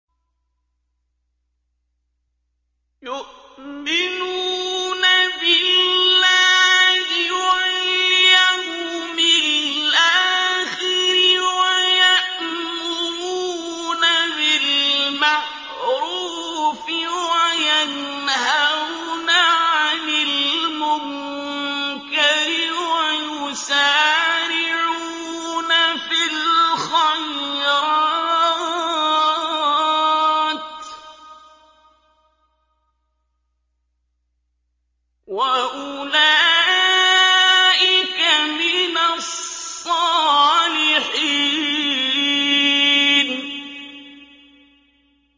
يُؤْمِنُونَ بِاللَّهِ وَالْيَوْمِ الْآخِرِ وَيَأْمُرُونَ بِالْمَعْرُوفِ وَيَنْهَوْنَ عَنِ الْمُنكَرِ وَيُسَارِعُونَ فِي الْخَيْرَاتِ وَأُولَٰئِكَ مِنَ الصَّالِحِينَ